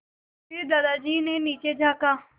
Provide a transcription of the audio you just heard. फिर दादाजी ने नीचे झाँका